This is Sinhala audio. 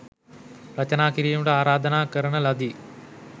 රචනා කිරීමට ආරාධනා කරන ලදී.